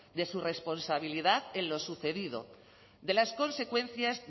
de su responsabilidad en lo sucedido de las consecuencias